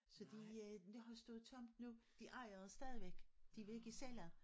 Så de øh det har stået tomt nu de ejer det stadigvæk de vil ikke sælge